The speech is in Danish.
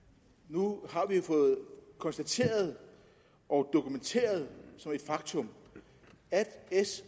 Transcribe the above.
jo fået konstateret og dokumenteret som et faktum at s